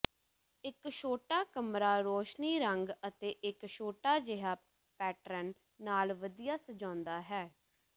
ਇੱਕ ਛੋਟਾ ਕਮਰਾ ਰੌਸ਼ਨੀ ਰੰਗ ਅਤੇ ਇੱਕ ਛੋਟਾ ਜਿਹਾ ਪੈਟਰਨ ਨਾਲ ਵਧੀਆ ਸਜਾਉਂਦਾ ਹੈ